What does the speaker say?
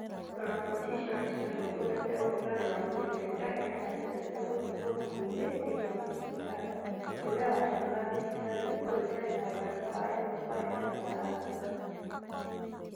roboti icio nĩ ciathuthuragia ũrugarĩ wa mwĩrĩ na ikaheana njĩra cia gũthiĩ kũndũ kũingĩ thĩinĩ wa thibitarĩ, ũndũ ũrĩa watũmaga thibitarĩ ĩkorũo ĩtarĩ na ũrata wa ĩmwe kwa ĩmwe na arũaru